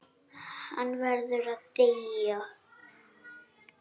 Hann verður að deyja.